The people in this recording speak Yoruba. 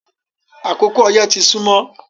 Akókò oyẹ́ tì sùnmọ